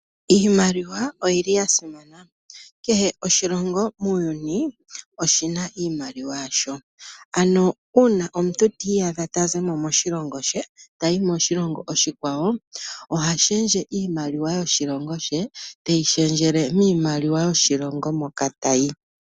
Iimaliwa oyili ya simana, kehe oshilongo muuyuni oshina iimaliwa yasho, ano uuna omuntu ti iyadha ta zimo moshilongo she tayi moshilongo oshikwawo oha shendje iimaliwa yoshilongo she teyi shendjele miimaliwa yoshilongo moka tayi.